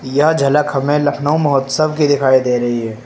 यह झलक हमें लखनऊ महोत्सव की दिखाई दे रही है।